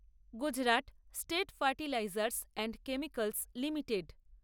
Gujarat state fertilizers and chemicals limited